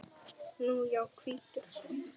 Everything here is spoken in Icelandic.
Nú já, hvítur hrafn.